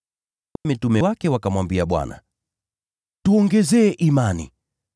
Mitume wake wakamwambia Bwana, “Tuongezee imani.”